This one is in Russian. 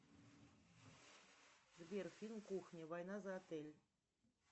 сбер фильм кухня война за отель